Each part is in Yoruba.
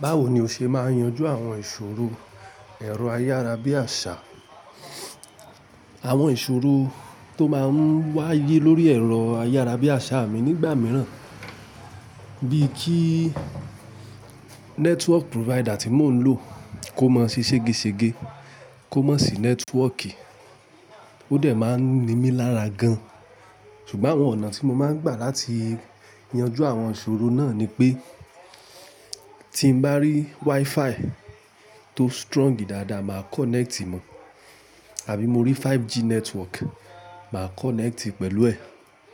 Báwo ni o ṣe máa yanju àwọn ìṣòro ẹ̀rọ ayárabíàṣá, àwọn ìṣòro tó máa ń wáyé lórí ẹ̀rọ ayárabíàṣá mi nígbà mìíràn bíi kí network provider tí mò ń lò kó máa ṣe sége sége, kó má sì network, ó dẹ̀ máa ń nimí lára gan. Ṣùgbọ́n àwọn ọ̀nà tí mo máa ń gbà láti yanjú àwọn ìṣòro náà ni pé tí bá rí WiFi tó strong dáadáa, màá connect mọ̀, àbí mo rí 5G network, màá connect pẹ̀lú ẹ̀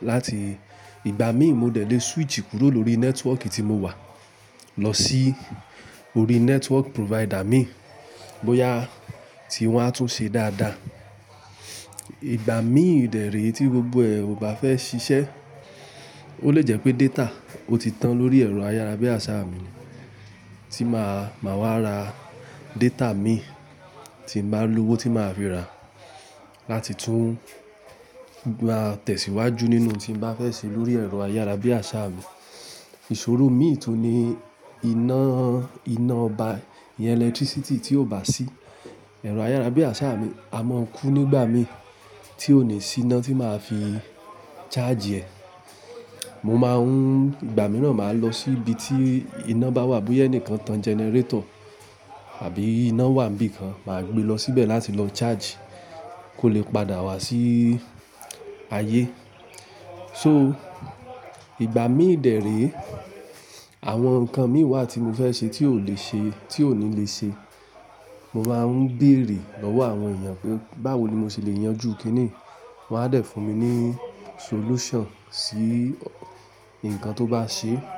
láti ìgbà mí ì mo dẹ̀ lè switch kúrò lórí network tí mo wà lọ sí orí network provider mi bóyá tí wọ́n á tún ṣe dáadáa. Ìgbà mí ì dẹ̀ ree tí gbogbo ẹ̀ ò bá fẹ́ ṣiṣẹ́, ó lè jẹ́ pé data ó ti tán lórí ẹ̀rọ ayárabíàṣá mi tí màá, màá wá ra data mi tí bá lówó tí màá fi ra láti tún gbà tẹ̀síwájú nínú ohun tí bá fẹ́ ṣe lórí ẹ̀rọ ayárabíàṣá mi. Ìṣòro mi tun ni iná, iná ọba, iyan electricity tí ò bá sí ẹ̀rọ ayárabíàṣá mi a mọ́ kú nígbà mí tí kò ní sí iná tí màá fi charge ẹ̀. Mo máa ń, ìgbà mìíràn máa lọ sí ibi tí iná bá wà bóyá ẹni kan tan generator àbí iná wà níbí kan, màá gbe lọ síbẹ̀ láti lọ charge kó lè padà wá sí ayé. So ìgbà mí ì dẹ̀ ree àwọn nǹkan mí wá tí mo fẹ́ ṣe tí ò lè ṣe, tí ò ní lè ṣe, mo máa ń béèrè lọ́wọ́ àwọn èèyàn pé báwo ni mo ṣe lè yanjú kín ní wọ́n á dẹ̀ fún mi ní solution sí nǹkan tó bá ṣee.